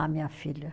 A minha filha.